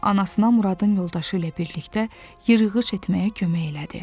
Anasına Muradın yoldaşı ilə birlikdə yırığıç etməyə kömək elədi.